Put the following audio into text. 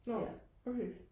nå okay